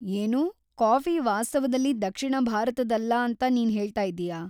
ಏನು! ಕಾಫಿ ವಾಸ್ತವದಲ್ಲಿ ದಕ್ಷಿಣ ಭಾರತದ್ದಲ್ಲ ಅಂತ ನೀನ್‌ ಹೇಳ್ತಾಯಿದೀಯಾ?